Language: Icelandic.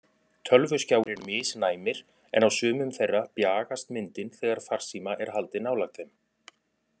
Tölvuskjáir eru misnæmir en á sumum þeirra bjagast myndin þegar farsíma er haldið nálægt þeim.